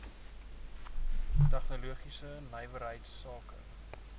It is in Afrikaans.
tegnologiese nywerheids sake